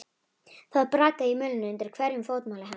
Það brakaði í mölinni undir hverju fótmáli hennar.